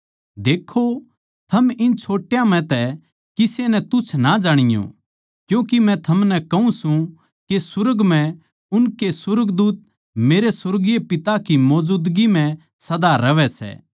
देक्खो थम इन छोट्या म्ह तै किसे नै तुच्छ ना जाणीयो क्यूँके मै थमनै कहूँ सूं के सुर्ग म्ह उनके सुर्गदूत मेरे सुर्गीय पिता की मौजूदगी म्ह सदा रहवै सै